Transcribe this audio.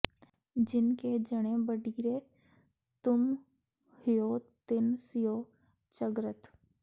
ਜਿਨ ਕੇ ਜਣੇ ਬਡੀਰੇ ਤੁਮ ਹਉ ਤਿਨ ਸਿਉ ਝਗਰਤ